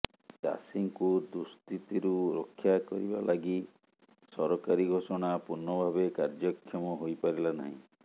ଚାଷୀଙ୍କୁ ଦୁଃସ୍ଥିତିରୁ ରକ୍ଷା କରିବା ଲାଗି ସରକାରୀ େଘାଷଣା ପୂର୍ଣ୍ଣଭାବେ କାର୍ଯ୍ୟକ୍ଷମ େହାଇପାରିଲା ନାହିଁ